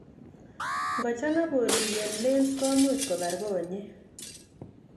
Ngo chang'a bolik en lens komuch kobar konyek